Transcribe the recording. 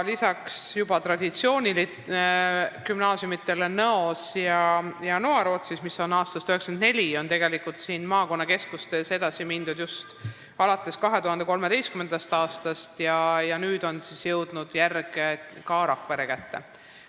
Lisaks juba traditsioonilistele gümnaasiumidele Nõos ja Noarootsis, mis on olemas aastast 1994, on maakonnakeskustes sellega edasi mindud just alates 2013. aastast ja nüüd on järg jõudnud Rakvere kätte.